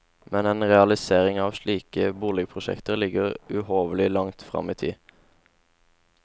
Men en realisering av slike boligprosjekter ligger uhorvelig langt frem i tid.